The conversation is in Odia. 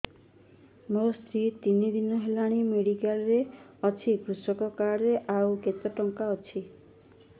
ମୋ ସ୍ତ୍ରୀ ତିନି ଦିନ ହେଲାଣି ମେଡିକାଲ ରେ ଅଛି କୃଷକ କାର୍ଡ ରେ ଆଉ କେତେ ଟଙ୍କା ଅଛି